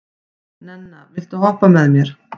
Nenna, viltu hoppa með mér?